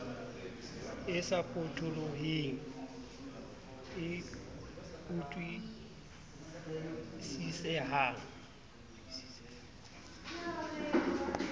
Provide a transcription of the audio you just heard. e sa potoloheng e utlwisisehang